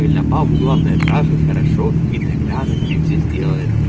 бабу главное трахать хорошо и тогда она тебе все сдедает